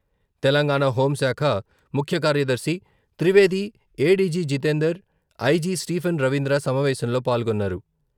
Telangana home శాఖ ముఖ్య కార్యదర్శి Trivedi, ADG Jitender, IG Stephen Ravindra సమావేశంలో పాల్గొన్నారు.